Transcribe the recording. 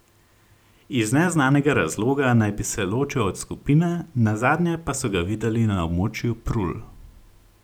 Iz neznanega razloga naj bi se ločil od skupine, nazadnje pa so ga videli na območju Prul.